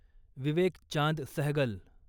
Vivek Chand Sehgal